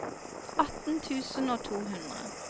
atten tusen og to hundre